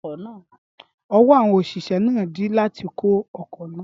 Ọwọ́ àwọn òṣìṣẹ́ náà dí láti kó ọkọ̀ náà.